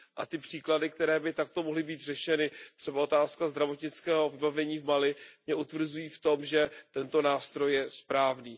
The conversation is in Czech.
Ty příklady, které by takto mohly být řešeny, třeba otázka zdravotnického vybavení v Mali, mě utvrzují v tom, že tento nástroj je správný.